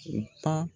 U ka